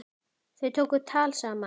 Þau tóku tal saman.